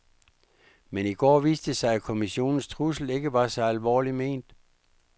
Men i går viste det sig, at kommissionens trussel ikke var så alvorligt ment.